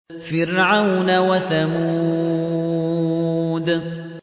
فِرْعَوْنَ وَثَمُودَ